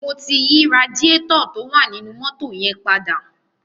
Mo ti yí radiátọ̀ tó wà nínú mọ́tò yẹn padà.